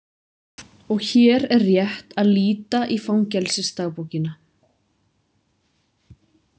Og hér er rétt að líta í fangelsisdagbókina.